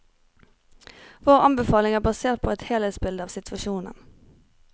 Vår anbefaling er basert på et helhetsbilde av situasjonen.